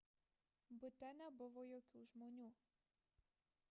bute nebuvo jokių žmonių